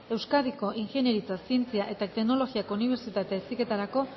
euskadiko ingeniaritza zientzia eta teknologiako unibertsitate heziketarako